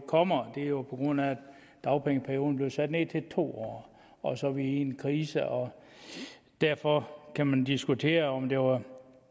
kommer det er jo på grund af at dagpengeperioden blev sat ned til to år og så er vi i en krise og derfor kan man diskutere om der var